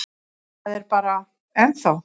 Það er bara. ennþá.